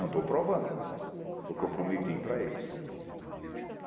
Não estou provando o que eu prometi para eles.